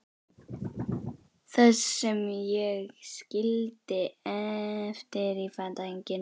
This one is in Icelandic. Þann sem ég skildi eftir í fatahenginu.